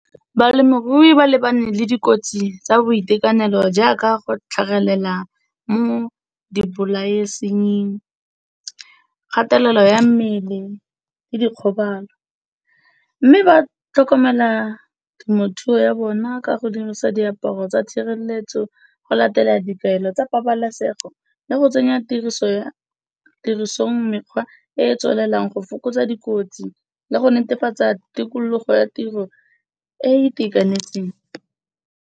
Balemirui ba lebane le dikotsi tsa boitekanelo jaaka go tlhagelela mo di bolaesengeng, kgatelelo ya mmele le dikgobalo. Mme ba tlhokomela temothuo ya bona ka go dirisa diaparo tsa tshireletso go latela di taelo tsa pabalesego le go tsenya tirisongmekgwa, e e tswelelang go fokotsa dikotsi le go netefatsa tikologo ya tiro e e itakanetseng.